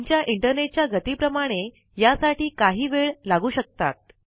तुमच्या इंटरनेट च्या गती प्रमाणे यासाठी काही वेळ लागू शकतात